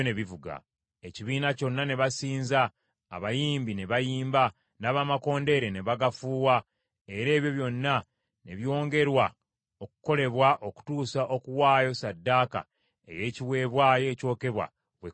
Ekibiina kyonna ne basinza, abayimbi ne bayimba, n’abamakondeere ne bagafuuwa, era ebyo byonna ne byongerwa okukolebwa okutuusa okuwaayo ssaddaaka ey’ekiweebwayo ekyokebwa bwe kwaggwa.